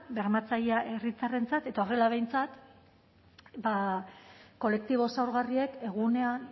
bermatzailea herritarrentzat eta horrela behintzat ba kolektibo zaurgarriek egunean